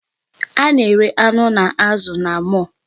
A na-ere anụ na azụ na mall.